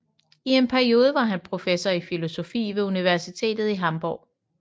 I en periode var han professor i filosofi ved universitetet i Hamburg